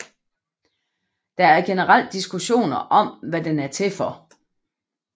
Der er generelt diskussioner om hvad den er til for